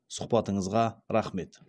сұхбатыңызға рақмет